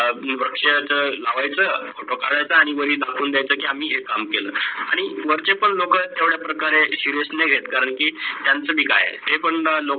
वृक्ष लावायच Photo काढायचं आणी माग दाखवायचं की आम्ही हे काम केल. आणी वरचे पण लोक ह्या प्रकारे SERIOU नाही घेत करण की त्यांच पण काय आहे